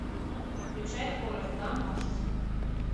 включай форест гамп аш ди